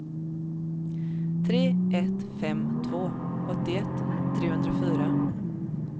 tre ett fem två åttioett trehundrafyra